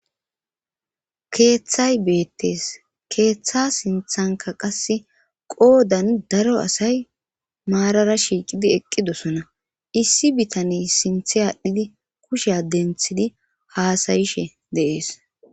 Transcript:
keeththay beettees keeththa sinthanka qasse qoodan daro asay maarara shiiqidi eqqidosona issi bitaney sinthe aadhdhidi kushe adenthidi haasayishe deees